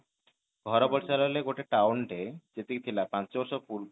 ଘର ପରିସର ହେଲେ ଗୋଟେ town ଟେ ଯେତିକି ଥିଲା ପାଞ୍ଚ ବର୍ଷ